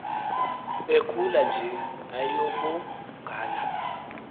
ekhula nje ayabongana